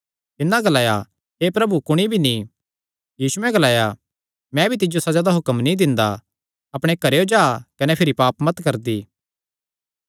तिन्नै ग्लाया हे प्रभु कुणी भी नीं यीशुयैं ग्लाया मैं भी तिज्जो सज़ा दा हुक्म नीं दिंदा अपणे घरेयो जा कने भिरी पाप मत करदी